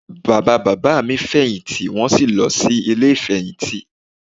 Bàbá bàbá mi fèyìntì wọ́n sì lọ sí Ilé ìfèyìntì